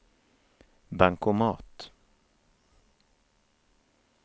bankomat